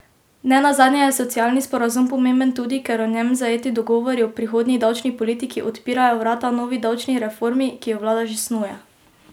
Ne nazadnje je socialni sporazum pomemben tudi, ker v njem zajeti dogovori o prihodnji davčni politiki odpirajo vrata novi davčni reformi, ki jo vlada že snuje.